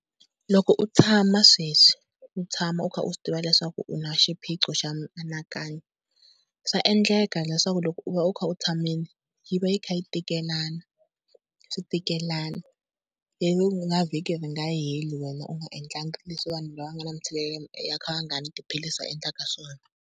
Loko u tshama sweswi u tshama u kha u swi tiva leswaku u na xiphiqo xa mianakanyo, swa endleka leswaku loko u va u kha u tshamile yi va yi kha yi tikelana, swi tikelana. Ivi na vhiki ri nga heli wena u nga endlangi leswi vanhu lava nga na mitshikelelo va kha va nga nwi tiphilisi va endlaka swona.